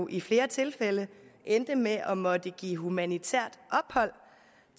i flere tilfælde endte med at måtte give humanitært ophold